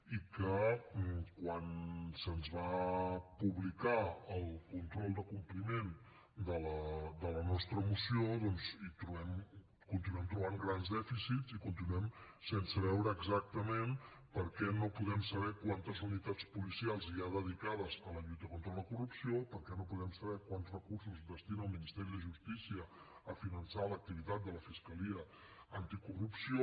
i quan se’ns va publicar el control de compliment de la nostra moció hi continuem trobant grans dèficits i continuem sense veure exactament per què no podem saber quantes unitats policials hi ha dedicades a la lluita contra la corrupció per què no podem saber quants recursos destina el ministeri de justícia a finançar l’activitat de la fiscalia anticorrupció